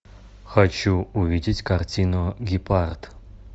хочу увидеть картину гепард